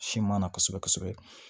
Siman na kosɛbɛ kosɛbɛ